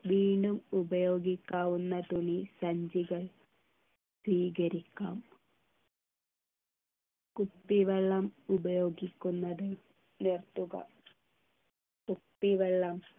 വീണ്ടും ഉപയോഗിക്കാവുന്ന തുണി സഞ്ചികൾ സ്വീകരിക്കാം കുപ്പിവെള്ളം ഉപയോഗിക്കുന്നത് നിർത്തുക കുപ്പിവെള്ളം